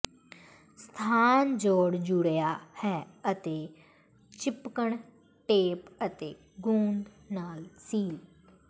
ਸਥਾਨ ਜੋਡ਼ ਜੁੜਿਆ ਹੈ ਅਤੇ ਿਚਪਕਣ ਟੇਪ ਅਤੇ ਗੂੰਦ ਨਾਲ ਸੀਲ